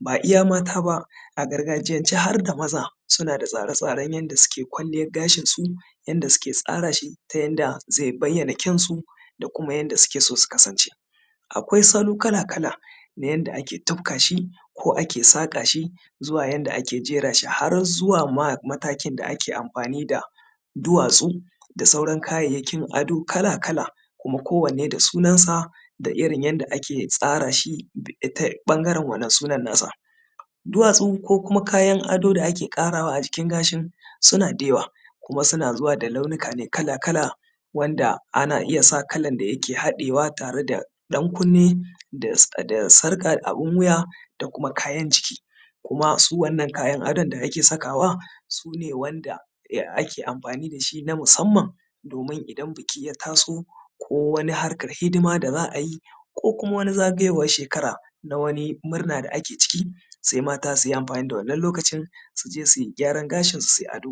ba iya mata ba a gargajiyance harda maza suna da tsare-tsaren yanda suke kwalliyar gashin su inda suke tsara shi ta yanda zai bayyana kyaun su da kuma yanda suke son su kasance akwai salo kala-kala na yanda ake tufka shi ko ake saƙa shi zuwa yanda ake jera shi har zuwa ma matakin da ake amfani da duwatsu da sauran kayayyakin ado kala-kala kuma kowanne da sunan sa da irin yanda ake tsara shi ta ɓangaren wannan sunan nasa duwatsu ko kuma kayan ado da ake ƙarawa a jikin gashin suna da yawa kuma suna zuwa ne da launika kala-kala wanda ana iya sa kalan da yake haɗewa tare da ɗan-kunne da sarƙa abun wuya da kuma kayan jiki kuma su wannan kayan adon da ake sakawa sune wanda ya ake amfani dashi na musamman domin idan biki ya taso ko wani harkar hidima da za ayi ko kuma wani zagayowar shekara na wani murna da ake ciki sai mata suyi amfani da wannan lokacin suje suyi gyaran gashin su suyi ado